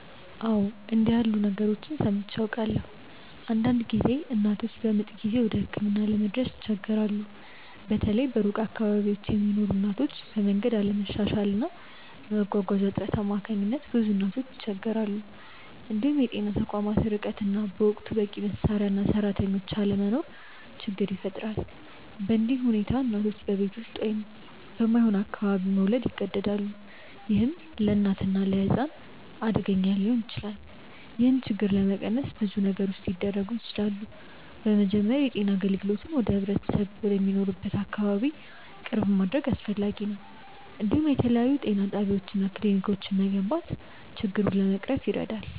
አዎ፣ እንዲህ ያሉ ነገሮችን ሰምቼ አውቃለሁ። አንዳንድ ጊዜ እናቶች በምጥ ጊዜ ወደ ሕክምና ለመድረስ ይቸገራሉ፤ በተለይ በሩቅ አካባቢዎች ለሚኖሩ እናቶች፤ በመንገድ አለመሻሻል እና በመጓጓዣ እጥረት አማካኝነት ብዙ እናቶች ይቸገራሉ። እንዲሁም የጤና ተቋማት ርቀት እና በወቅቱ በቂ መሳሪያ እና ሰራተኞች አለመኖር ችግር ይፈጥራል። በእንዲህ ሁኔታ እናቶች በቤት ውስጥ ወይም በማይሆን አካባቢ መውለድ ይገደዳሉ፣ ይህም ለእናትና ለሕፃን አደገኛ ሊሆን ይችላል። ይህን ችግር ለመቀነስ ብዙ ነገሮች ሊደረጉ ይችላሉ። በመጀመሪያ የጤና አገልግሎትን ወደ ህብረተሰቡ ወደሚኖርበት አካባቢ ቅርብ ማድረግ አስፈላጊ ነው፤ እንዲሁም የተለያዩ ጤና ጣቢያዎች እና ክሊኒኮች መገንባት ችግሩን ለመቅረፍ ይረዳል።